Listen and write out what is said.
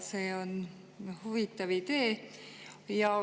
See on huvitav idee.